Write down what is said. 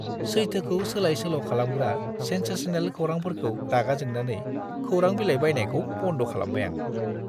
सैथोखौ सोलाय-सोल' खालामग्रा सेनसेसनेल खौरांफोरखौ‌ रागा जोंनानै खौरां बिलाइ बायनायखौ बन्द' खालामबाय आं।